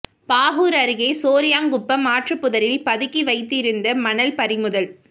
பாகூர் அருகே சோரியாங்குப்பம் ஆற்று புதரில் பதுக்கி வைத்திருந்த மணல் பறிமுதல்